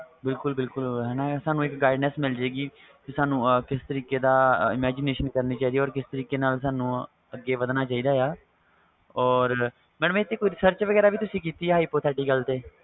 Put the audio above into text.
ਬਿਲਕੁਲ ਬਿਲਕੁਲ mam ਸਾਨੂੰ ਇਕ guidess ਮਿਲ ਜਾਵੇਗੀ ਤੇ ਸਾਨੂੰ ਆਪ ਕਿਸ ਤਰਾਂ ਦੀ imagination ਕਰਨੀ ਚਾਹੀਦਾ ਤੇ ਕਿਸ ਤਰੀਕੇ ਨਾਲ ਅੱਗੇ ਵਦਨਾ ਚਾਹੀਦਾ or ਤੁਸੀਂ ਇਥੇ search ਵੇਗਰਾ ਵੀ ਕੀਤੀ hypothecial ਤੇ